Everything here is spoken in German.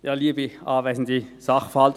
Kommissionssprecher der FiKo.